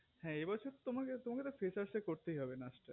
হেএ বছর তো তোমাকে freshers এ করতেই হবে নাচ টা